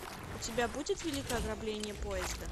у тебя будет великое ограбление поезда